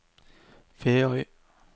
Feøy